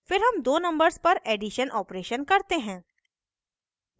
फिर हम दो numbers पर एडिशन operation करते हैं